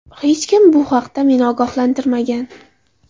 Hech kim bu haqda meni ogohlantirmagan.